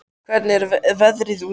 Hildibjörg, hvernig er veðrið úti?